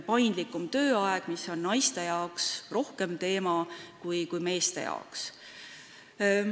Paindlikum tööaeg on naistele olulisem teema kui meestele.